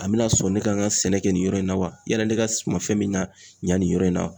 A bɛna sɔn ne ka n ka sɛnɛ kɛ nin yɔrɔ in na wa? Yalla ne ka suma fɛn min na yan nin yɔrɔ in na